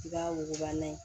I b'a wuguba n'a ye